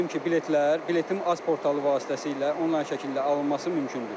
Qeyd edim ki, biletlər biletim.az portalı vasitəsilə onlayn şəkildə alınması mümkündür.